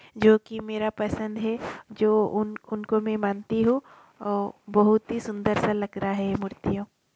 जो की मेरा पसंद है। जो उन उनको मैं मानती हु वो बहुत ही सुंदर सा लग रहा है मूर्तियों--